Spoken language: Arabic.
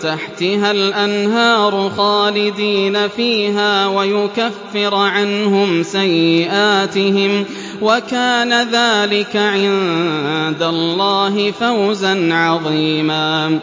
تَحْتِهَا الْأَنْهَارُ خَالِدِينَ فِيهَا وَيُكَفِّرَ عَنْهُمْ سَيِّئَاتِهِمْ ۚ وَكَانَ ذَٰلِكَ عِندَ اللَّهِ فَوْزًا عَظِيمًا